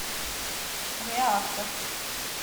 реактор